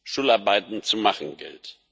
es Schularbeiten zu machen gilt.